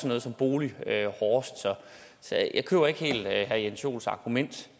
noget som bolig hårdest så jeg køber ikke helt herre jens joels argument